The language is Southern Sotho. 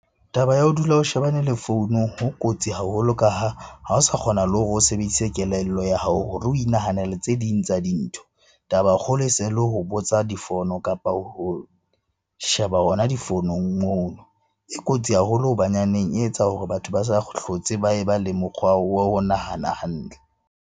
Taba ya ho dula o shebane le founu ho kotsi haholo ka ha, ha o sa kgona le hore o sebedise kelello ya hao hore o inahanele tse ding tsa dintho. Taba e kgolo e se le ho botsa difono, kapa ho sheba hona difonong mono. E kotsi haholo hobanyaneng e etsa hore batho ba sa hlotse ba e ba le mokgwa wa ho nahana hantle.